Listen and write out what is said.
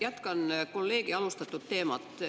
Jätkan kolleegi alustatud teemat.